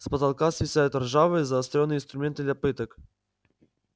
с потолка свисают ржавые заострённые инструменты для пыток